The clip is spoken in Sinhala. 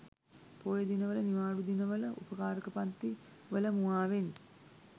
පෝය දින වල නිවාඩු දිනවල උපකාරක පන්ති වල මුවාවෙන්